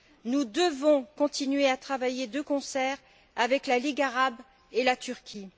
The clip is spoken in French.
Nous devons continuer à travailler de concert avec la Ligue arabe et la Turquie.